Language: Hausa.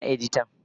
Ina editan?